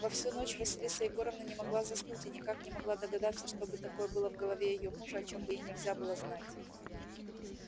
во всю ночь василиса егоровна не могла заснуть и никак не могла догадаться что бы такое было в голове её мужа о чем бы ей нельзя было знать